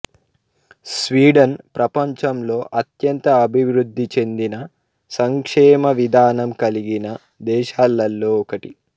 Sweden ప్రపంచంలో అత్యంత అభివృద్ధి చెందిన సంక్షేమవిధానం కలిగిన దేశాలలో ఒకటి